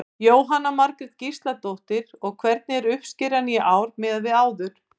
Jóhanna Margrét Gísladóttir: Og hvernig er uppskeran í ár miðað við áður?